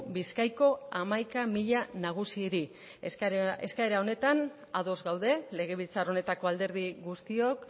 bizkaiko hamaika mila nagusiri eskaera honetan ados gaude legebiltzar honetako alderdi guztiok